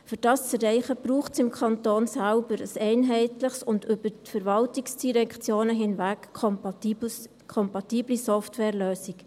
Um dies zu erreichen, braucht es im Kanton selber eine einheitliche und über die Verwaltungsdirektionen hinweg kompatible Softwarelösung.